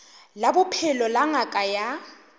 la bophelo la ngaka ya